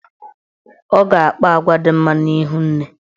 Ọ ga-akpa agwa dị mma n'ihu nne.